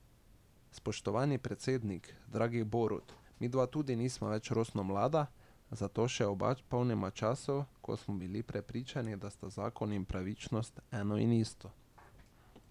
Spoštovani predsednik, dragi Borut, midva tudi nisva več rosno mlada, zato se oba še spomniva časov, ko smo bili prepričani, da sta zakon in pravičnost eno in isto.